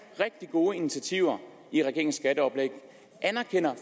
rigtig gode initiativer i regeringens skatteoplæg anerkender